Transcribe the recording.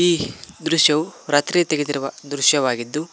ಈ ದೃಶ್ಯವೂ ರಾತ್ರಿ ತೆಗೆದಿರುವ ದೃಶ್ಯವಾಗಿದ್ದು--